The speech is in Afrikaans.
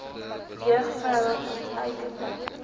jeug vroue ontluikende